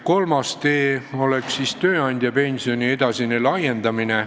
Kolmas tee oleks tööandjapensioni võimaluste edasine laiendamine.